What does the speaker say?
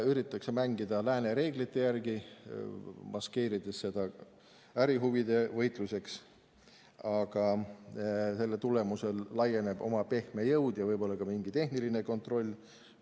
Üritatakse mängida lääne reeglite järgi, maskeerida seda ärihuvide võitluseks, aga selle tulemusel laieneb oma pehme jõud ja võib-olla ka mingi tehniline kontroll.